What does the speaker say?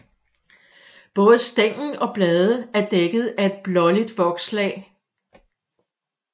Både stængel og blade er dækket af et blåligt vokslag